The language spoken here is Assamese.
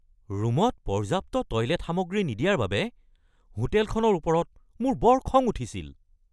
ৰুমত পৰ্যাপ্ত টয়লেট সামগ্ৰী নিদিয়াৰ বাবে হোটেলখনৰ ওপৰত মোৰ বৰ খং উঠিছিল।